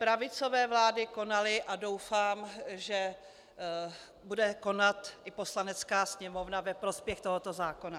Pravicové vlády konaly a doufám, že bude konat i Poslanecká sněmovna ve prospěch tohoto zákona.